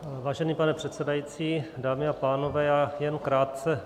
Vážený pane předsedající, dámy a pánové, já jen krátce.